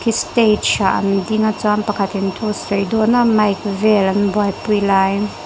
stage ah an ding a chuan pakhatin thu a sawi dawn a mic vel an buaipui lai--